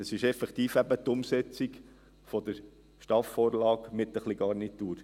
Es ist effektiv eben die Umsetzung der STAFVorlage mit ein wenig Garnitur.